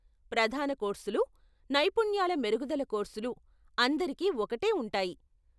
ప్రధాన కోర్సులు, నైపుణ్యాల మెరుగుదల కోర్సులు అందరికీ ఒకటే ఉంటాయి.